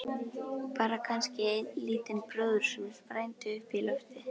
Bara kannski einn lítinn bróður sem sprændi upp í loftið.